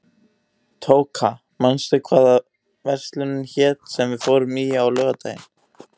Tóka, manstu hvað verslunin hét sem við fórum í á laugardaginn?